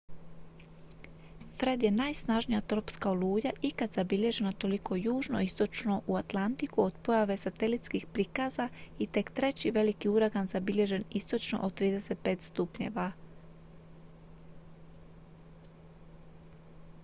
fred je najsnažnija tropska oluja ikad zabilježena toliko južno i istočno u atlantiku od pojave satelitskih prikaza i tek treći veliki uragan zabilježen istočno od 35° w